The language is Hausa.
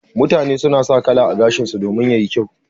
Mutane suna sa kala a gashinsu domin yayi kyau.